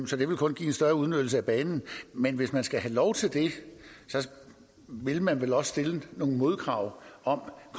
så det ville kun give en større udnyttelse af banen men hvis den skal have lov til det vil den vel også stille nogle modkrav om